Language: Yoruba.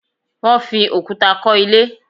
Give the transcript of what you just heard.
They used stones to build the house